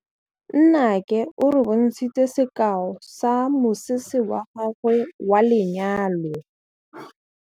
Nnake o re bontshitse sekaô sa mosese wa gagwe wa lenyalo.